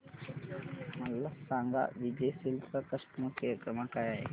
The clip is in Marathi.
मला सांगा विजय सेल्स चा कस्टमर केअर क्रमांक काय आहे